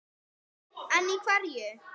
En í hverju?